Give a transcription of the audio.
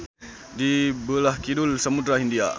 Di beulah kidul Samudra Hindia.